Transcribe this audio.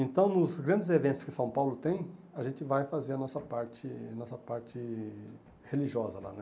Então, nos grandes eventos que São Paulo tem, a gente vai fazer a nossa parte nossa parte religiosa lá, né?